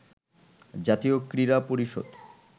জাতীয় ক্রীড়া পরিষদ